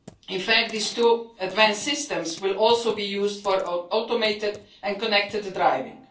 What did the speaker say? In fact, these two advanced systems will also be used for automated and connected driving.